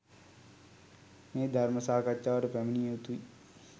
මේ ධර්ම සාකච්ඡාවට පැමිණිය යුතුයි.